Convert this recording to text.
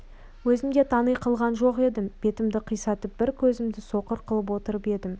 өзім де танитын қылған жоқ едім бетімді қисайтып бір көзімді соқыр қылып отырып едім